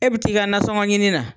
E be t'i ka nasɔŋɔ ɲini na